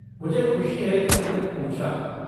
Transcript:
मुझे खुशी है कि तुमने पूछा।